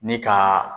Ni ka